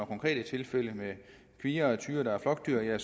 konkrete tilfælde med kvier og tyre der er flokdyr